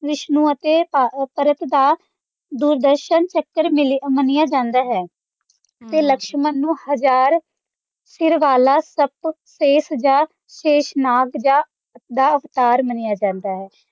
ਵਿਸ਼ਨੂੰ ਅਤੇ ਅਹ ਭਰਤ ਦਾ ਦੂਰਦਰਸ਼ਨ ਚੱਕਰ ਮਿਲਿਆ ਮੰਨਿਆ ਜਾਂਦਾ ਹੈ ਤੇ ਲਕਸਮਨ ਨੂੰ ਹਜਾਰ ਜਾਂ ਕੇਸ਼ਨਾਗ ਦਾ ਅਵਤਾਰ ਮੰਨਿਆ ਜਾਂਦਾ ਹੈ।